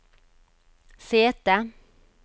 sete